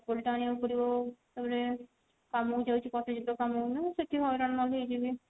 ଚପଲ ଟା ଆଣିବାକୁ ପଡିବ ତାପରେ କାମ କୁ ଯାଉଛି ସେଠି ହଇରାଣ ନ ହେଇକି ବି